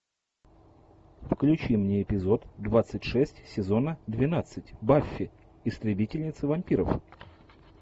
включи мне эпизод двадцать шесть сезона двенадцать баффи истребительница вампиров